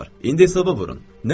İndi sınağa vurun.